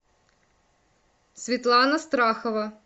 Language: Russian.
светлана страхова